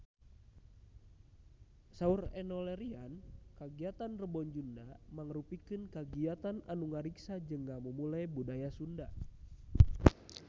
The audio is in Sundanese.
Saur Enno Lerian kagiatan Rebo Nyunda mangrupikeun kagiatan anu ngariksa jeung ngamumule budaya Sunda